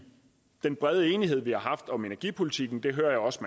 den brede enighed vi har om energipolitikken det hører jeg også